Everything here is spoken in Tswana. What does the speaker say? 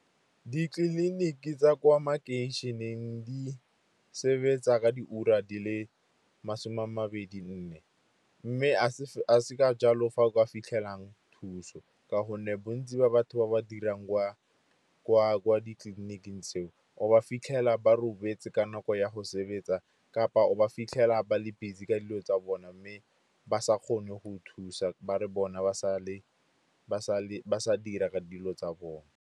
Ditleliniki tsa kwa makeišeneng di sebetsa ka diura di le masome a mabedi nne, mme a se ka jalo fa kwa fitlhelang thuso. Ka gonne bontsi ba batho ba ba dirang kwa ditleliniking tseo o ba fitlhela ba robetse ka nako ya go sebetsa kapa o ba fitlhela ba le busy ka dilo tsa bona, mme ba sa kgone go thusa ba re bona ba sa dira dilo tsa bone.